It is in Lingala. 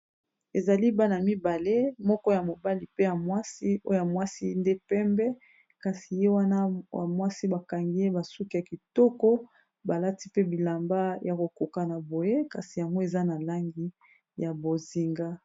Ezali bana mibale moko ya mobali pe ya mwasi oya mwasi nde pembe. kasi ye wana ya mwasi bakangi ye basuki ya kitoko balati pe bilamba ya kokoka na boye kasi yango eza na langi ya bozinga.